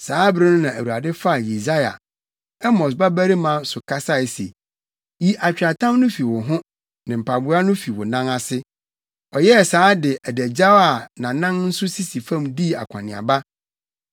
saa bere no Awurade faa Yesaia, Amos babarima so kasae se, “Yi atweaatam no fi wo ho ne mpaboa no fi wo nan ase.” Ɔyɛɛ saa de adagyaw a nʼanan nso sisi fam dii akɔneaba.